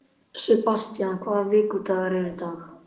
Sebastian, hvaða vikudagur er í dag?